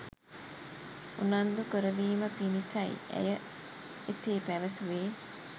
උනන්දු කරවීම පිණිසයි ඇය එසේ පැවසුවේ.